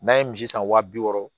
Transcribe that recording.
N'an ye misi san wa bi wɔɔrɔ